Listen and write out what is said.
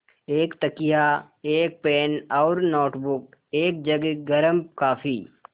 एक तकिया एक पेन और नोटबुक एक जग गर्म काफ़ी